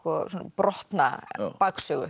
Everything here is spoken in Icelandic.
brotna